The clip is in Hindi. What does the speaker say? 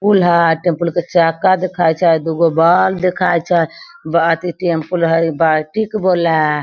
स्कूल उ ह टेम्पू के चका दिखा छई दुगो बल्ब दिखई छे टेम्पू है बाल्टी के --